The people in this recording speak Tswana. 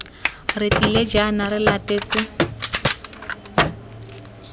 re tlile jaana re latetse